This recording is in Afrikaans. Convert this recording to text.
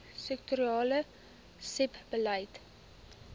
sektorale sebbeleid